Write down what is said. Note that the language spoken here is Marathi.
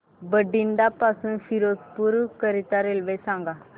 बठिंडा पासून फिरोजपुर करीता रेल्वे सांगा